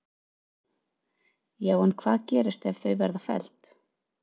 Höskuldur: Já en hvað gerist ef að þau verða felld?